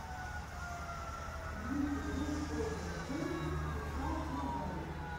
в ютюбе олдер плэй фифа мобайл